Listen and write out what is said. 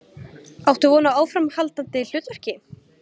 Áttu von á áframhaldandi hlutverki?